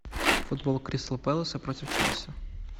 футбол кристал пэлас против челси